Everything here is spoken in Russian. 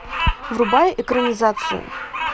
врубай экранизацию